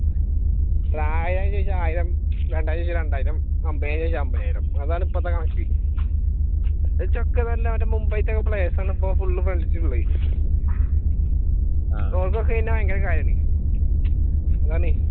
ആയിരൊന്ന് ചോദിച്ചാൽ ആയിരം രണ്ടായിരം ചോദിച്ചാൽ രണ്ടായിരം അൻപതിനായിരം ചോദിച്ചാൽ അൻപതിനായിരം അതാണിപ്പളത്തെ condition മുംബൈയിൽ നിന്നും players ആണ് ഫ്രണ്ട് ലിസ്റ്റിൽ ഉള്ളത് ഓർക്ക് ഒക്കെ എന്നെ വലിയ കാര്യം ആണ്.